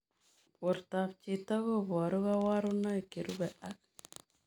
Portoop chitoo kobaruu kabarunaik cherubei ak